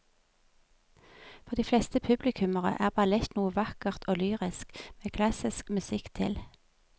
For de fleste publikummere er ballett noe vakkert og lyrisk med klassisk musikk til.